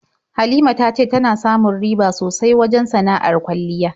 Halima ta ce tana samu riba sosai wajen sana'ar kwalliya.